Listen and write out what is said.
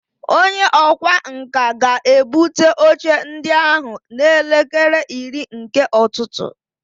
Onye ọkwá nkà ga-ebute oche ndị ahụ n'elekere iri nke ụtụtụ